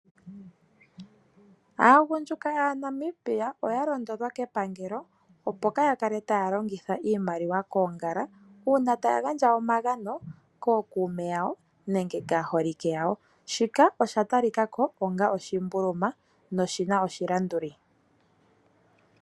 Aagundjuka yaNamibia oya londodhwa kepangelo opo kaa ya kale taya longitha iimaliwa koongala uuna taya gandja omagano kookuume yawo nenge kaaholike yawo. Shika osha talika ko onga oshimbuluma noshi na oshilanduli.